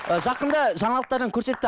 жақында жаңалықтардан көрсетті